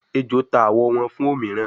ejó ta awọ wón fún òmíràn